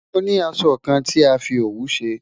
Mo ni àsọ̀ kàn tí a fi ọwù ṣẹ